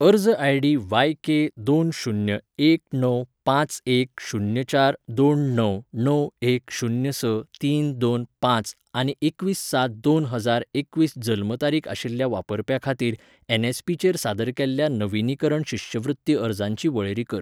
अर्ज I D वाय के दोन शून्य एक णव पांच एक शून्य चार दोन णव णव एक शून्य स तीन दोन पांच आनी एकवीस सात दोन हजार एकवीस जल्म तारीखआशिल्ल्या वापरप्या खातीर एनएसपी चेर सादर केल्ल्या नविनीकरण शिश्यवृत्ती अर्जांची वळेरी कर